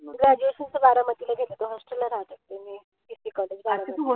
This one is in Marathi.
Graduation च बारामतीला केलं होत. Hostel ला राहायचे मी. बारामती.